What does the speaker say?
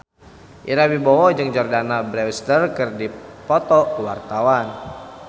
Ira Wibowo jeung Jordana Brewster keur dipoto ku wartawan